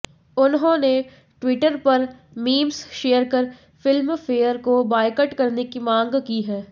उन्होंने ट्विटर पर memes share कर फिल्मफेयर को बायकॉट करने की मांग की है